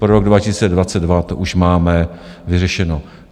Pro rok 2022 to už máme vyřešeno.